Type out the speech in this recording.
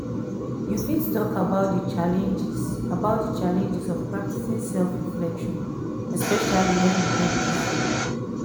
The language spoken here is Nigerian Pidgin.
you fit talk about di challenges about di challenges of practicing self-reflection especially when we dey busy?